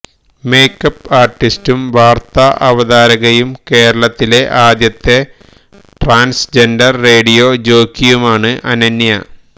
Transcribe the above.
makeup ആർട്ടിസ്റ്റും വാർത്താ അവതാരകയും കേരളത്തിലെ ആദ്യത്തെ ട്രാൻസ്ജെൻഡർ റേഡിയോ ജോക്കിയുമാണ് അനന്യ